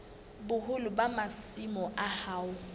boholo ba masimo a hao